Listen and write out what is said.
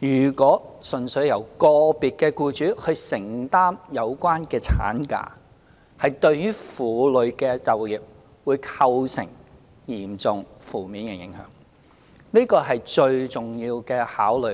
如果純粹由個別僱主承擔有關產假薪酬，對於婦女的就業會構成嚴重負面的影響，這個是最重要的考慮。